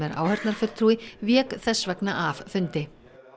áheyrnarfulltrúi vék þess vegna af fundi